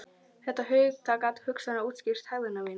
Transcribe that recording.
Þetta hugtak gat hugsanlega útskýrt hegðun mína.